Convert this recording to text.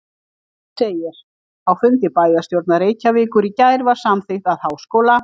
Þar segir: Á fundi bæjarstjórnar Reykjavíkur í gær var samþykkt að Háskóla